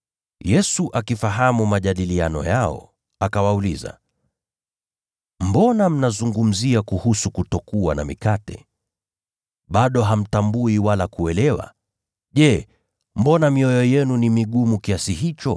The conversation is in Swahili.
Yesu, akifahamu majadiliano yao, akawauliza: “Mbona mnajadiliana kuhusu kutokuwa na mikate? Je, bado hamtambui wala hamwelewi? Je, mbona mioyo yenu ni migumu kiasi hicho?